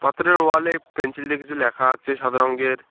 পাথরের ওয়াল এ পেন্সিল দিয়ে কিসু ল্যাখা আছে সাদা রঙ্গের।